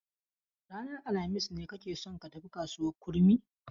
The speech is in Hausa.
Ranar alhamis ne kake son ka tafi kasuwar Kurmi?